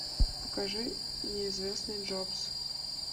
покажи неизвестный джобс